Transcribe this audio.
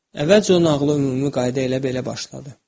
Əvvəlcə o nağılı ümumi qayda ilə belə başladı.